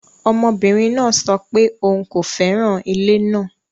Ọmọbinrin naa sọ pe oun ko fẹran ile naa